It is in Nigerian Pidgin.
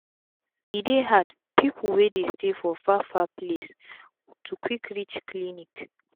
e dey hard pipu wey dey stay for far far place to quick reach clinic